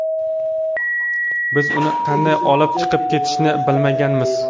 Biz uni qanday olib chiqib ketishni bilmaganmiz.